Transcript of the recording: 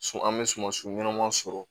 An bɛ suman su ɲɛnama sɔrɔ